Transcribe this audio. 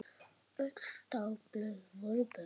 Öll dagblöð voru bönnuð.